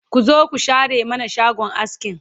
ku zo ku share mana shagon askin